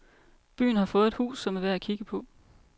Byen har fået et hus som er værd at kigge på.